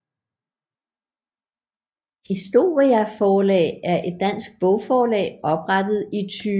Historia Forlag er et dansk bogforlag oprettet i 2012